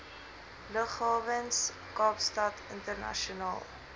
lughawens kaapstad internasionaal